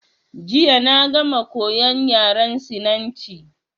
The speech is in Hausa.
Jiya na gama koyan yaran Sinanci.